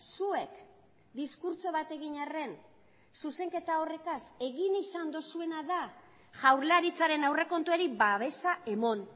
zuek diskurtso bat egin arren zuzenketa horretaz egin izan duzuena da jaurlaritzaren aurrekontuari babesa eman